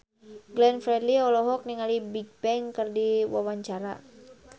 Glenn Fredly olohok ningali Bigbang keur diwawancara